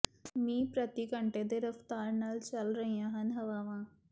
ਮੀ ਪ੍ਰਤੀ ਘੰਟੇ ਦੀ ਰਫਤਾਰ ਨਾਲ ਚੱਲ ਰਹੀਆਂ ਹਨ ਹਵਾਵਾਂ